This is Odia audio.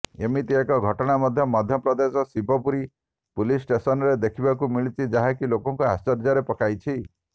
ଏମିତି ଏକ ଘଟଣା ମଧ୍ୟ ପ୍ରଦେଶର ଶିବପୁରୀ ପୁଲିସ ଷ୍ଟେସନରେ ଦେଖିବାକୁ ମିଳିଛି ଯାହାକି ଲୋକଙ୍କୁ ଆଶ୍ଚର୍ଯ୍ୟରେ ପକାଇଛି